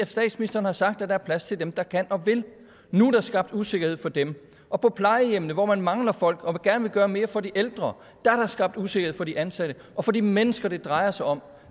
statsministeren har sagt at der er plads til dem der kan og vil nu er der skabt usikkerhed for dem og på plejehjemmene hvor man mangler folk og gerne vil gøre mere for de ældre er der skabt usikkerhed for de ansatte og for de mennesker det drejer sig om